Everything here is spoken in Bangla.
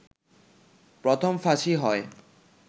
প্রথম ফাঁসি হয়